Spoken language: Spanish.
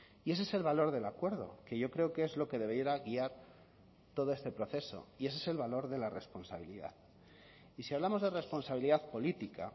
y ese es el valor del acuerdo que yo creo que es lo que debiera guiar todo este proceso y ese es el valor de la responsabilidad y si hablamos de responsabilidad política